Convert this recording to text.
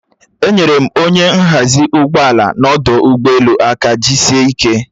Enyere m onye nhazi ụgbọala n'ọdụ ụgbọelu aka jiisie ike